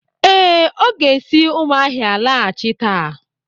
Ee, o ga-esi umuahia laghachi taa.